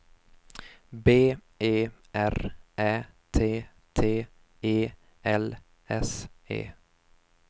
B E R Ä T T E L S E